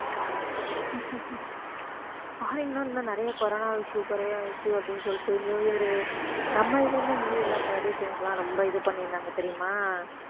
foreign ல இன்னும் நிறைய corona issue குறைய issue அப்படின்னு சொல்லிட்டு நியூ இயர் நம்ம இதுலயுமே நியூ இயர்லாம் celebration க்குலாம் ரொம்ப இது பண்ணியிருந்தாங்க தெரியுமா